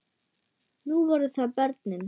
Nú voru það börnin.